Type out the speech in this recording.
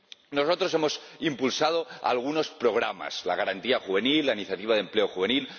Nosotros hemos impulsado algunos programas la Garantía Juvenil, la Iniciativa de Empleo Juvenil